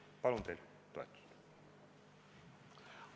Palun teilt toetust!